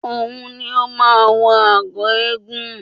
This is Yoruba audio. Òun ni ó máa wọ agọ̀ eégún